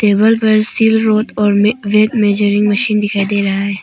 दिवाल पर steel rod और मे वेट मेजरिंग मशीन दिखाई दे रहा है।